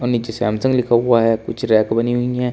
और नीचे सैमसंग लिखा हुआ है कुछ रैक बनी हुई है।